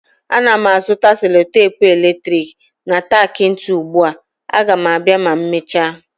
Ana m azụta selotepu eletrik na tak ntu ugbu a, Aga m abịa ma emechaa